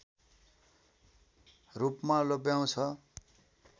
रूपमा लोभ्याउँछ